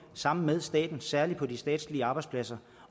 sammen med staten særlig på de statslige arbejdspladser